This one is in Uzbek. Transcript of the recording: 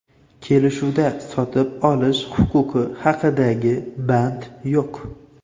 Kelishuvda sotib olish huquqi haqidagi band yo‘q.